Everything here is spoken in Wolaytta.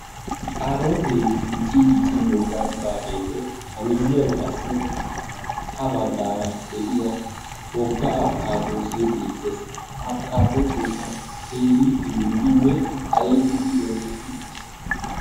kaarootee dicii dicci wogaa gidaageenne a miyiyan qassi ha bagaara de'iya woga askaadoose beetees. ha askaadooseenee teeriiteeridinne ayfidi yondoddi uttiis.